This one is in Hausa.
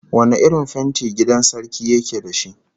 Wane irin fenti gidan sarki yake da shi?